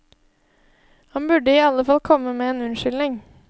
Han burde i alle fall komme med en unnskyldning.